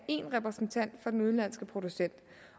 én repræsentant for den udenlandske producent